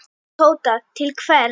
Tóta: Til hvers?